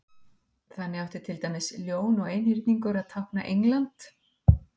Þannig átti til dæmis Ljón og Einhyrningur að tákna England.